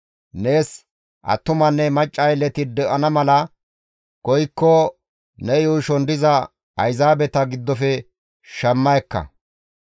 « ‹Nees attumanne macca aylleti de7ana mala koykko ne yuushon diza Ayzaabeta giddofe shamma ekka.